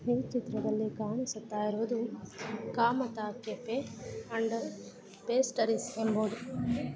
ಈ ಚಿತ್ರದಲ್ಲಿ ಕಾಣಿಸುತ್ತಾ ಇರುವುದು ಕಾಮತ ಕೆಫೆ ಅಂಡ್ ಪೇಸ್ಟ್ರೀಸ್ ಎಂಬುದು.